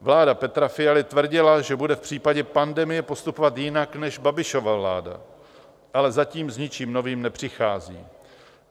Vláda Petra Fialy tvrdila, že bude v případě pandemie postupovat jinak než Babišova vláda, ale zatím s ničím novým nepřichází.